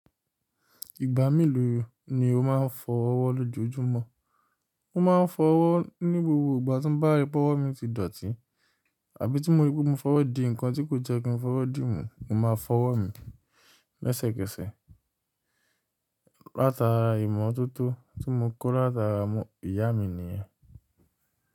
Ìgbà mélòó ni o máa ń fọ ọwọ́ lójoojúmọ́? Mo ma ń fọ ọwọ́ ní gbogbo ìgbà tí ń bá rí pé ọwọ́ mi ti dọ̀tí, àbí tí mo rí pé mo fọwọ́ di ǹkan tí kò jẹ́ kí n fọwọ́ dì mú, mo máa fọwọ́ mi lẹ́sẹ̀kẹsẹ̀. Láti ara ìmọ̀tótó tí mo kọ́ láta ìyá mi nìyẹn.